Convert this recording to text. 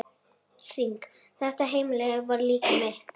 Þitt heimili var líka mitt.